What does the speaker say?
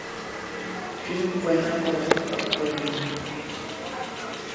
фильм война полов открой мне